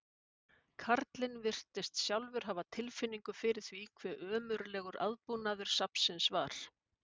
Karlinn virtist sjálfur hafa tilfinningu fyrir því hve ömurlegur aðbúnaður safnsins var.